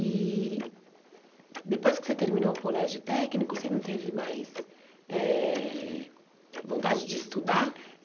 E depois que você terminou o colégio técnico, você não teve mais eh vontade de estudar?